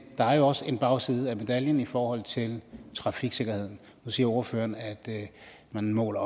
der er jo også en bagside af medaljen i forhold til trafiksikkerheden nu siger ordføreren at at man måler